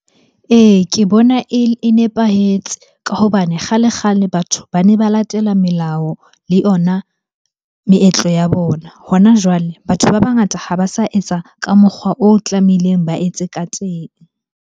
Ee, ke bona e nepahetse ka hobane kgale-kgale batho bane ba latela melao le yona meetlo ya bona Hona jwale, batho ba bangata ha ba sa etsa ka mokgwa o tlamehileng ba etse ka teng.